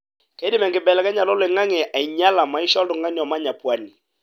keidim enkibelekenyata oloingange ainyiala maisha oltungana omanya pwani.